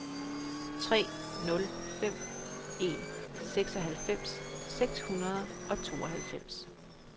tre nul fem en seksoghalvfems seks hundrede og tooghalvfems